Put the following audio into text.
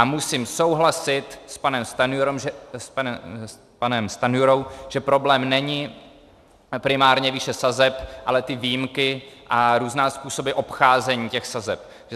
A musím souhlasit s panem Stanjurou, že problém není primárně výše sazeb, ale ty výjimky a různé způsoby obcházení těch sazeb.